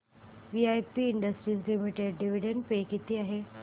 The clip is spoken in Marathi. VIP industries limited dividend pay किती आहे